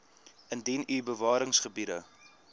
indien u bewaringsgebiede